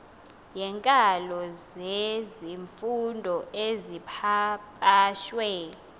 yeenkalo zezifundo ezipapashwe